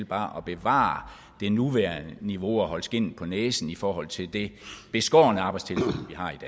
bare at bevare det nuværende niveau og holde skindet på næsen i forhold til det beskårne arbejdstilsyn